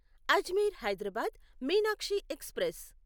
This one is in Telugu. అజ్మీర్ హైదరాబాద్ మీనాక్షి ఎక్స్ప్రెస్